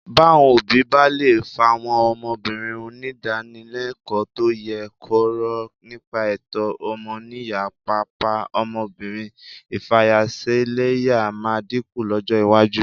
Báwọn òbí bá lè fáwọn ọmọbìnrin nídànílẹlẹ́kọ̀ọ́ tó yè kooro nípa ẹ̀tọ́ ọmọnìyàn, pàápàá ọmọbìnrin, ìfayaṣẹlẹ́yà máa dínkù lọ́jọ́ iwájú